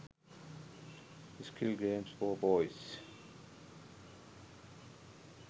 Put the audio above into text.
skill games for boys